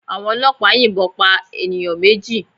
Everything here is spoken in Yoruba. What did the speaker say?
Àwọn ọlọ́pàá yìnbọn pa ènìyàn méjì